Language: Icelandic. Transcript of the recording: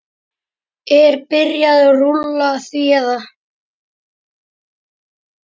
Er byrjað rúlla því eða?